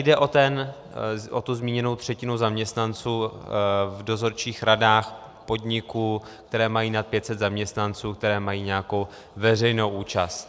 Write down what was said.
Jde o tu zmíněnou třetinu zaměstnanců v dozorčích radách podniků, které mají nad 500 zaměstnanců, které mají nějakou veřejnou účast.